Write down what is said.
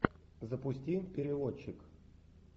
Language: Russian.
запусти переводчик